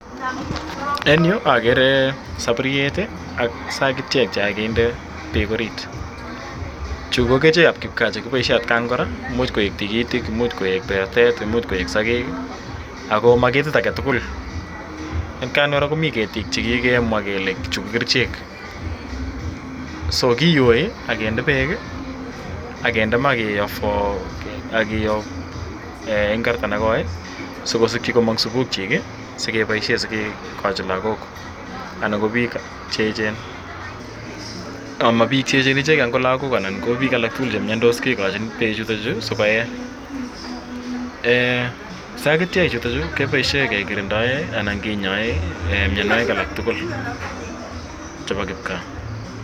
En yu akere sapuriet ak sakitiek che kakinde peek orit. Chu ko kerichek ap kipkaa che kipaishen atkan kora. Imuchi koek tigitik, imuch koek pertet, imuch koek sakek i, ako ma ketit age tugul. Atkan kora komi ketiik che kikemwa kele chu ko kerichek .So ki yoi ak peek i, ak kinde ma ak kiyoo eng' kasarta ne koi si kosikchi komang' supukchik asikepaishe kekachi lagok anan ko piik che echen. Ama piik che echen ichegei angot lagok anan ko piik alak tugul che miandos kekachin pechutachu asi ko ee. Sakitiechutachu kepaishe kekirindae anan kinyae mianwagik alak tugul chepa kipka.